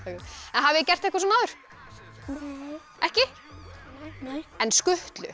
hafið þið gert svona áður nei ekki en skutlu